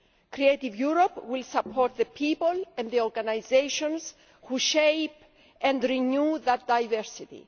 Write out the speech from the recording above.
Creative Europe will support the people and the organisations who shape and renew that diversity.